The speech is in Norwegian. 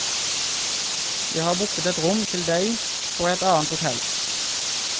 Jeg har booket et rom til deg på et annet hotell.